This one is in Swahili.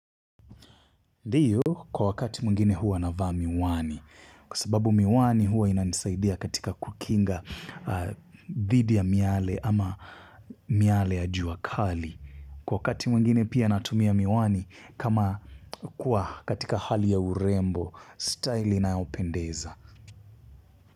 Ndiyo kwa wakati mwingine huwa navaa miwani. Kwa sababu miwani huwa ina nisaidia katika kukinga dhidi ya miale ama miale ya jua kali. Kwa wakati mwingine pia natumia miwani kama kuwa katika hali ya urembo, staili inayo pendeza.